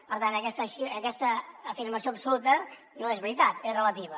per tant aquesta afirmació absoluta no és veritat és relativa